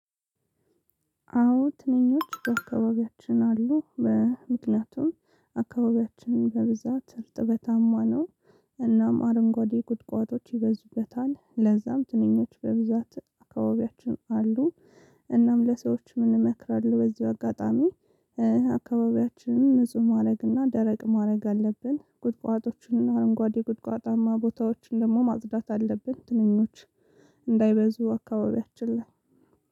አዎ ትንኞች በአካባቢያችን አሉ በምክንያቱም አካባቢያችን በብዛት እርጥበታማ ነው። እናም አረንጓዴ ቁጥቋጦች ይበዙበታል ለዛም ትንኞች በብዛት አካባቢያችን አሉ። እናም ለሰዎች ምን እንመክራሉ? በዚው አጋጣሚ። አካባቢያችንን ንጹህ ማረግና ደረቅ ማረግ አለብን ቁጥቋጦዎችና አረንጓዴ ቁጥቋጣማ ቦታዎች ደግሞ ማጽዳት አለብን። ትንኞች እንዳይበዙ አካባቢያችን ላይ